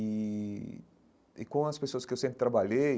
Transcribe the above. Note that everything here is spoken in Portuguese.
E e com as pessoas que eu sempre trabalhei,